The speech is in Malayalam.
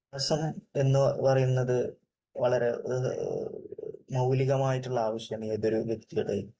എന്ന് പറയുന്നത് വളരെ മൌലികമായിട്ടുള്ള ആവശ്യം ഏതൊരു വ്യക്തിയുടെയും